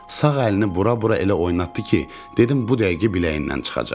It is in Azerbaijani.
Sağ əlini bura-bura elə oynatdı ki, dedim bu dəqiqə biləyindən çıxacaq.